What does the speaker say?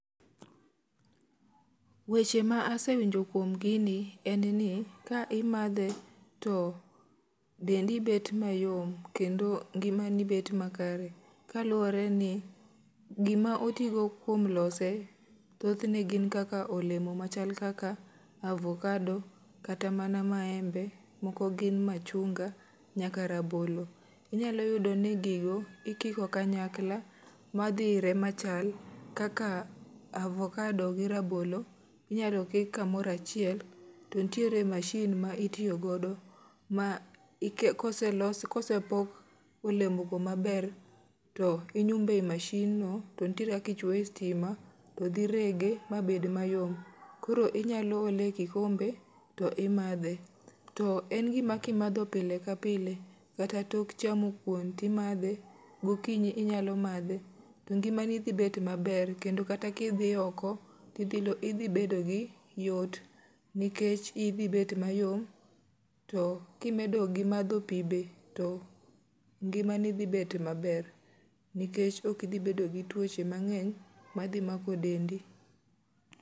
Weche ma asewinjo kuom gini en ni, ka imadhe to dendi bet mayom kendo ngima ni bet ma kare. Kaluwore ni gima oti go kuom lose thothne gin kaka olemo machal kaka avokado, kata mana maembe, moko gin machunga nyaka rabolo. Inyalo yudo ni gigo, ikiko kanyakla ma dhire machal. Kaka avokado gi rabolo, inyalo kik kamorachiel, to nitiere mashin ma itiyo godo. Ma kose los, kose pok olemo go maber, to inyumbe i mashin no to nitiere kaki chwoye e stima. to dhi rege, mabed mayom, koro inyalo ole e kikombe to imadhe. To en gima kimadho pile ka pile, kata tok chamo kuon ti madhe, gokinyi inyalo madhe. To ngima ni dhi bet maber, kendo kata kidhi oko, tidhi lo tidhi bedo gi yot. Nikech idhi bet mayom, to kimedo gi madho pi be, to ngima ni dhi bet maber. Nikech okidhi bedo gi tuoche mang'eny, ma dhi mako dendi.